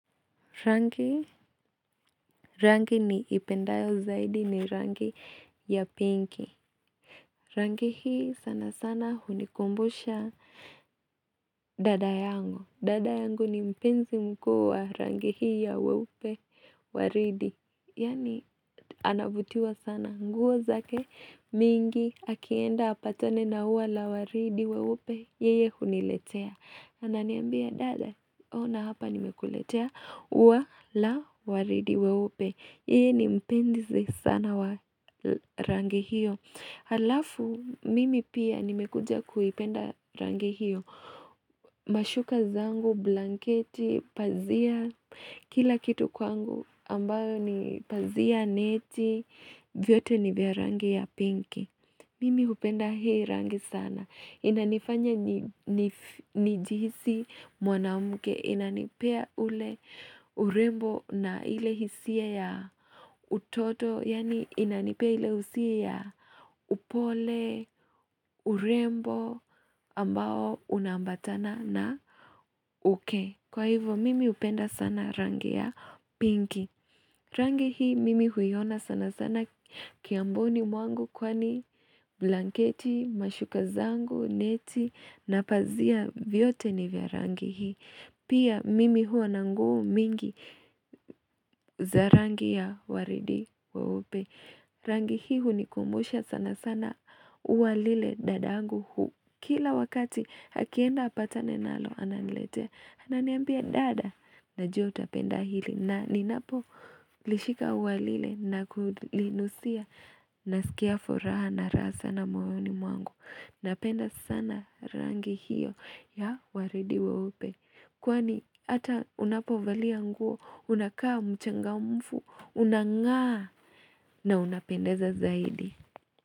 Rangi ni ipendayo zaidi ni rangi ya pinki. Rangi hii sana sana hunikumbusha dada yangu. Dada yangu ni mpenzi mkuu wa rangi hii ya weupe waridi. Yani anabutiwa sana nguwa zake mingi akienda apatone na uwa la waridi weupe yeye huniletea. Ananiambia dada ona hapa nimekuletea uwa la waridi weupe. Yeye ni mpenzi sana wa rangi hiyo. Halafu, mimi pia nimekuja kuipenda rangi hiyo. Mashuka zangu, blanketi, pazia. Kila kitu kwangu ambayo ni pazia neti. Vyote ni vya rangi ya pinki. Mimi upenda hei rangi sana. Inanifanya nijihisi mwanamuke. Inanipea ule urembo na ile hisia ya utoto Yani inanipea ile usia ya upole urembo ambao unambatana na uke Kwa hivo mimi upenda sana rangi ya pinki Rangi hii mimi huiona sana sana kiamboni mwangu kwani blanketi, mashukazangu, neti na pazia vyote ni vya rangi hii Pia mimi huwa nanguu mingi za rangi ya waridi wa upe. Rangi hii ni kumbusha sana sana uwalile dada yangu huu. Kila wakati hakienda apatane nalo ananlete. Ananiambia dada na jota penda hili. Na ninapo lishika uwalile na kulinusia na sikia foraha na rasa na mwoni mwangu. Napenda sana rangi hiyo ya waridi weupe. Kwani hata unapovalia nguo unakaa mchangamfu unangaa na unapendeza zaidi.